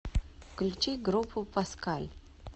включи группу паскаль